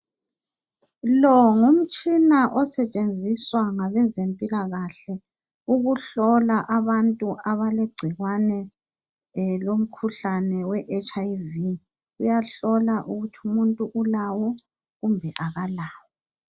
Lo ngumtshina osetshenziswa ngabezempilakahle ukuhlola abantu abalengcikwane lokhuhlane we HIV. Uyahlola ukuthi umuntu ulawo kumbe akalawawo.